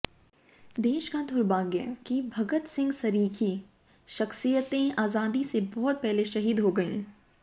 देश का दुर्भाग्य कि भगत सिंह सरीखी शख्सियतें आज़ादी से बहुत पहले शहीद हो गयीं